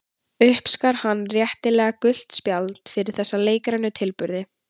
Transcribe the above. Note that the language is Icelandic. Uppskar hann réttilega gult spjald fyrir þessa leikrænu tilburði.